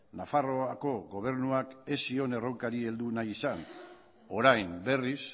nafarroako gobernuak ez zion erronkari heldu nahi izan orain berriz